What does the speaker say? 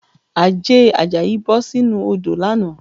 Àjẹ̀ Àjàyí bọ̀ sínú odò lánàá